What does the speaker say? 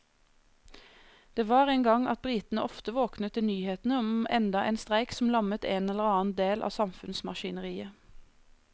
Det var en gang at britene ofte våknet til nyhetene om enda en streik som lammet en eller annen del av samfunnsmaskineriet.